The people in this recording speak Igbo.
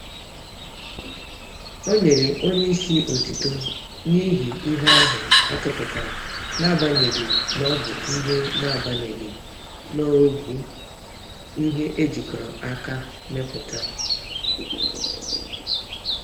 Onyere onyeisi otuto n'ihi ihe ahụ atụpụtara, naagbanyeghi nọbụ ihe naagbanyeghi nọbụ ihe ejikọrọ aka mepụta